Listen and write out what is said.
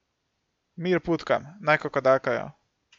Mir putkam, naj kokodakajo.